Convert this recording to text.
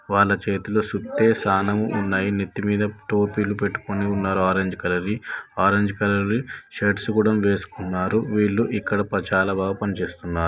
వాళ్ళ చేతిలో సుత్తె శానం ఉన్నాయి నెత్తి మీద టోపీ లు పెట్టుకున్నారు ఆరెంజ్ కలర్ వి ఆరెంజ్ కలర్ వి షర్ట్స్ కూడా వేస్కున్నారు వీళ్ళు ఇక్కడ చాలా బాగా పని చేస్తున్నారు.